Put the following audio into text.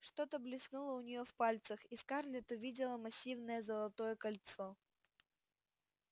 что-то блеснуло у нее в пальцах и скарлетт увидела массивное золотое кольцо